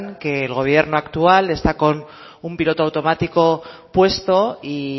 que el gobierno actual está con un piloto automático puesto y